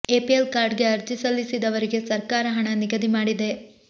APL card ಗೆ ಅರ್ಜಿ ಸಲ್ಲಿಸಿದವರಿಗೆ ಸರ್ಕಾರ ಹಣ ನಿಗದಿ ಮಾಡಿದೆ